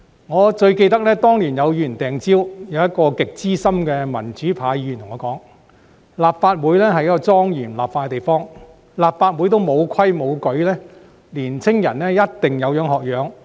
我最記得當年有議員擲蕉，一位極資深的民主派議員對我說，立法會是一個莊嚴立法的地方，如果立法會也沒有規矩，年青人一定有樣學樣。